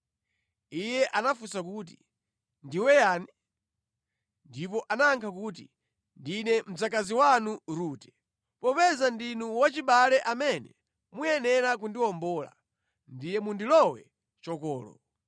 Iye anafunsa kuti, “Ndiwe yani?” Ndipo anayankha kuti, “Ndine mdzakazi wanu Rute. Popeza ndinu wachibale amene muyenera kundiwombola, ndiye mundilowe chokolo.”